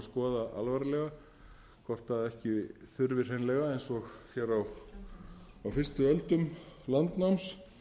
að skoða alvarlega hvort ekki þurfi hreinlega eins og hér á fyrstu öldum landnáms